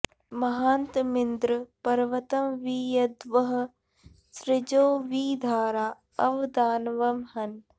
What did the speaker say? म॒हान्त॑मिन्द्र॒ पर्व॑तं॒ वि यद्वः सृ॒जो वि धारा॒ अव॑ दान॒वं ह॑न्